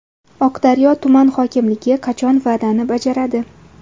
Oqdaryo tuman hokimligi qachon va’dani bajaradi?.